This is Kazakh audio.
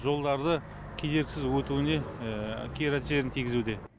жолдарды кедергісіз өтуіне кері әсерін тигізуде